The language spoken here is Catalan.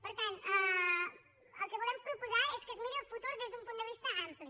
per tant el que volem proposar és que es miri el futur des d’un punt de vista ampli